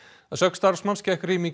að sögn starfsmanns gekk